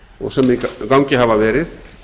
og sem í gangi hafa verið